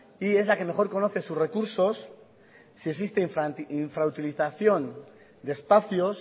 y es la que mejor conoce sus recursos si existe infrautilización de espacios